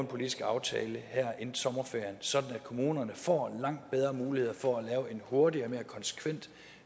politisk aftale her inden sommerferien sådan at kommunerne får langt bedre muligheder for at lave en hurtigere og mere konsekvent